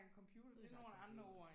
Vi har sagt en del